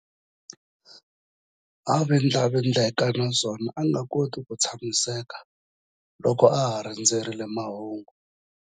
A vindlavindleka naswona a nga koti ku tshamiseka loko a ha rindzerile mahungu.